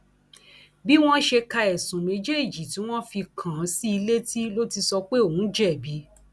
bí wọn ṣe ka ẹsùn méjèèjì tí wọn fi kàn án sí i létí ló ti sọ pé òun jẹbi